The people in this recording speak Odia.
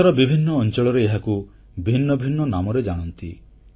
ଦେଶର ବିଭିନ୍ନ ଅଂଚଳରେ ଏହାକୁ ଭିନ୍ନ ଭିନ୍ନ ନାମରେ ଜାଣନ୍ତି